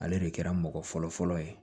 Ale de kɛra mɔgɔ fɔlɔfɔlɔ ye